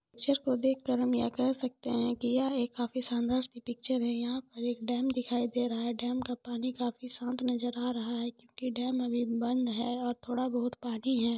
Picture को देख कर हम देख सकते है की यह एक काफी शानदार सी पिक्चर है यहाँ पर एक डेम दिखाई दे रहा है डेम का पानी काफी शांत नज़र आ रहा है क्योंकि डेम अभी बंद है और थोड़ा बहुत पानी है।